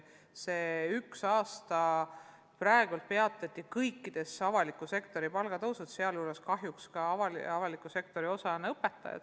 Sel aastal peatati kogu avalikus sektoris palgatõus, kahjuks on ka õpetajad avaliku sektori osa.